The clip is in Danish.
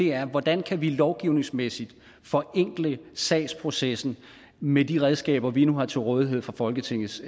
er hvordan vi lovgivningsmæssigt kan forenkle salgsprocessen med de redskaber vi nu har til rådighed fra folketingets